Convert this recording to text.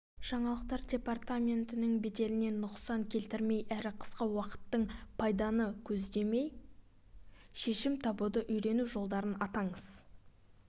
жаңалықтар департаментінің беделіне нұқсан келтірмей әрі қысқа уақыттық пайданы көздемей шешім табуды үйрену жолдарын атаңыз